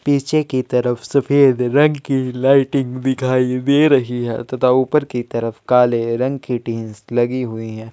पीछे की तरफ सफेद रंग की लाइटिंग दिखाई दे रहे है तथा ऊपर के तरफ काले रंग की टिन लगी हुइ है।